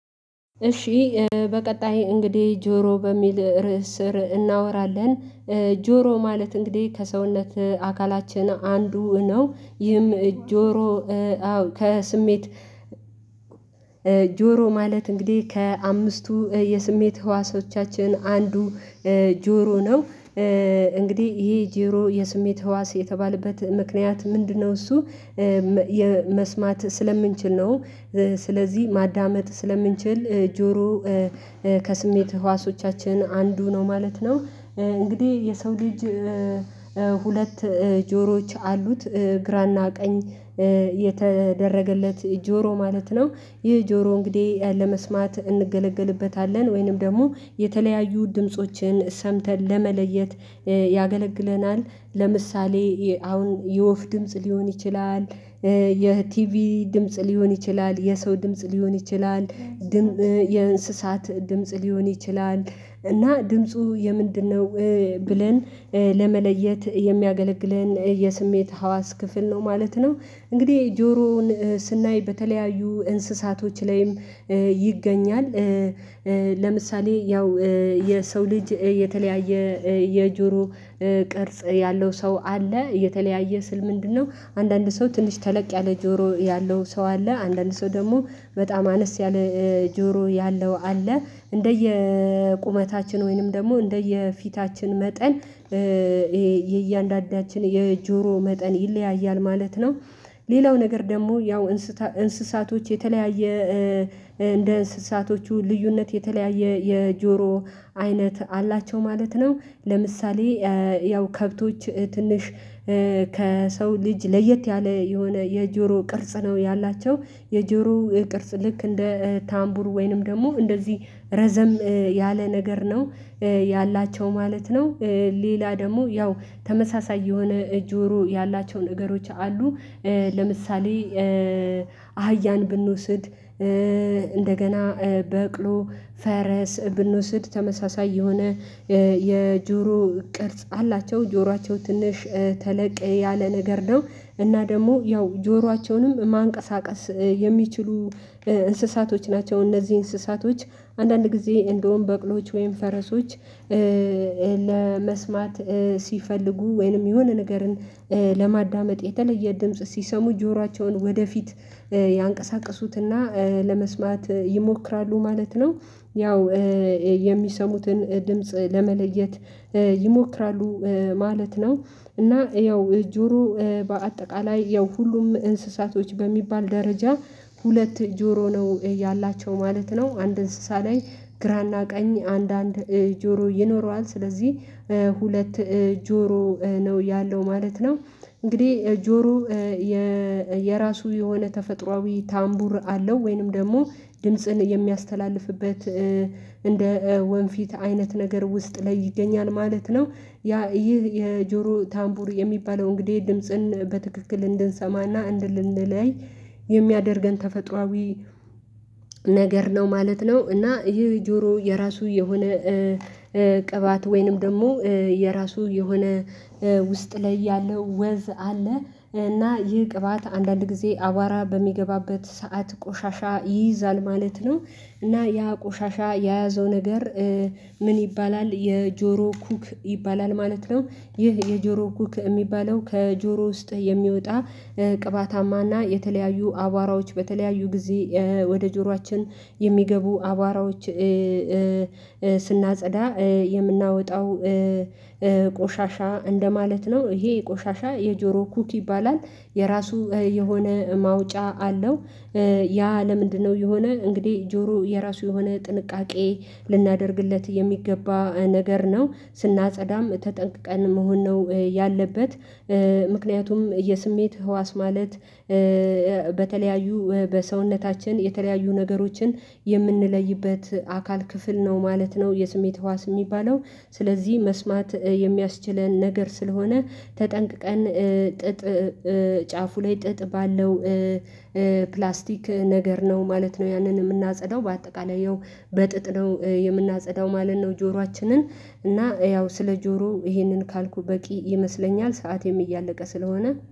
እሺ በቀጣይ እንግዲህ ጆሮ በሚል ርዕስ ስር እናወራለን። ጆሮ ማለት እንግዲህ ከሰውነት አካላችን አንዱ ነው ይህም ጆሮ አዎ ከስሜት ጆሮ ማለት እንግዲህ ከአምስቱ የስሜት ህዋሶቻችን አንዱ ነው ጆሮ ነው። እንግዲህ ይሄ ጆሮ የስሜት ህዋስ የተባለበት ምክንያት ምንድነው እሱ የመስማት ስለምንችል ነው። ስለዚህ ማዳመጥ ስለምንችል ጆሮ ከስሜት ህዋሶቻችን አንዱ ነው ማለት ነው። እንግዲህ የሰው ልጅ ሁለት ጆሮዎች አሉት ግራና ቀኝ የተደረገለት ጆሮ ማለት ነው። ይህ ጆሮ እንግዲህ ለመስማት እንገለገልበታለን ወይንም ደግሞ የተለያዩ ድምፆችን ሰምተን ለመለየት ያገለግለናል ለምሳሌ አሁን የወፍ ድምጽ ሊሆን ይችላል የቲቪ ድምጽ ሊሆን ይችላል የሰው ድምጽ ሊሆን ይችላል የእንስሳት ድምጽ ሊሆን ይችላል እና ድምፁ የምንድነው ብለን ለመለየት የሚያገለግለን የስሜት ሀዋስ ክፍል ነው ማለት ነው። እንግዲህ ጆሮውን ስናይ በተለያዩ እንስሳቶች ላይም ይገኛል። ለምሳሌ ያው የሰው ልጅ የተለያየ የጆሮ ቅርጽ ያለው ሰው አለ የተለያየ ስል ምንድነው አንዳንድ ሰው ትንሽ ተለቅ ያለ ጆሮ ያለው ሰው አለ አንዳንድ ሰው ደግሞ በጣም አነስ ያለ ጆሮ ያለው አለ። እንደየ ቁመታችን ወይንም ደግሞ እንደየ ፊታችን መጠን ይሄ የእያንዳንዳችን የጆሮ መጠን ይለያያል ማለት ነው። ሌላው ነገር ደግሞ ያው እንስሳቶች የተለያየ እንደ እንስሳቶቹ ልዩነት የተለያየ የጆሮ አይነት አላቸው ማለት ነው። ለምሳሌ ያው ከብቶች ትንሽ ከሰው ልጅ ለየት ያለ የሆነ የጆሮ ቅርጽ ነው ያላቸው የጆሮ ቅርጽ ልክ እንደ ታምቡር ወይንም ደግሞ እንደዚህ ረዘም ያለ ነገር ነው ያላቸው ማለት ነው። ሌላ ደግሞ ያው ተመሳሳይ የሆነ ጆሮ ያላቸውን ነገሮች አሉ ለምሳሌ አህያን ብንውስድ እንደገና በቅሎ ፈረስ ብንውስድ ተመሳሳይ የሆነ የጆሮ ቅርጽ አላቸው ጆሯቸው ትንሽ ተለቅ ያለ ነገር ነው። እና ደግሞ ያው ጆሯቸውንም ማንቀሳቀስ የሚችሉ እንስሳቶች ናቸው እነዚህ እንስሳቶች አንዳንድ ጊዜ እንደውም በቅሎዎች ወይም ፈረሶች ለመስማት ሲፈልጉ ወይንም የሆነ ነገርን ለማዳመጥ የተለየ ድምጽ ሲሰሙ ጆሯቸውን ወደፊት ያንቀሳቅሱትና ለመስማት ይሞክራሉ ማለት ነው ያው የሚሰሙትን ድምጽ ለመለየት ይሞክራሉ ማለት ነው። እና ያው ጆሮ በአጠቃላይ ያው ሁሉም እንስሳቶች በሚባል ደረጃ ሁለት ጆሮ ነው ያላቸው ማለት ነው አንድ እንስሳ ላይ ግራና ቀኝ አንዳንድ ጆሮ ይኖረዋል ስለዚህ ሁለት ጆሮ ነው ያለው ማለት ነው። እንግዲህ ጆሮ የራሱ የሆነ ተፈጥሮአዊ ታምቡር አለው ወይንም ደግሞ ድምጽን የሚያስተላልፍበት እንደ ወንፊት አይነት ነገር ውስጥ ላይ ለይገኛል ማለት ነው። ያ ይህ የጆሮ ታምቡር የሚባለው እንግዲህ ድምጽን በትክክል እንድንሰማና እንድንለይ የሚያደርገን ተፈጥሮአዊ ነገር ነው ማለት ነው። እና ይህ ጆሮ የራሱ የሆነ ቅባት ወይንም ደግሞ የራሱ የሆነ ውስጥ ላይ ያለው ወዝ አለ እና ይህ ቅባት አንዳንድ ጊዜ አቧራ በሚገባበት ሰዓት ቆሻሻ ይይዛል ማለት ነው። እና ያ ቆሻሻ የያዘው ነገር ምን ይባላል የጆሮ ኩክ ይባላል ማለት ነው። ይህ የጆሮ ኩክ የሚባለው ከጆሮ ውስጥ የሚወጣ ቅባታማና የተለያዩ አቧራዎች በተለያዩ ጊዜ ወደ ጆሯችን የሚገቡ አቧራዎች ስናጸዳ የምናወጣው ቆሻሻ እንደማለት ነው ይሄ ቆሻሻ የጆሮ ኩቲ ይባላል። የራሱ የሆነ ማውጫ አለው። ያ ለምንድነው የሆነ እንግዲህ ጆሮ የራሱ የሆነ ጥንቃቄ ልናደርግለት የሚገባ ነገር ነው። ስናጸዳም ተጠንቅቀን መሆን ነው ያለበት ምክንያቱም የስሜት ህዋስ ማለት በተለያዩ በሰውነታችን የተለያዩ ነገሮችን የምንለይበት አካል ክፍል ነው ማለት ነው። የስሜት ህዋስ የሚባለው ስለዚህ መስማት የሚያስችለን ነገር ስለሆነ ተጠንቅቀን ጥጥ ጫፉ ላይ ጥጥ ባለው ፕላስቲክ ነገር ነው ማለት ነው። ያንን የምናጸዳው በአጠቃላይ ያው በጥጥ ነው የምናጸዳው ማለት ነው። ጆሯችንን እና ያው ስለ ጆሮ ይሄንን ካልኩ በቂ ይመስለኛል ሰዓትም እያለቀ ስለሆነ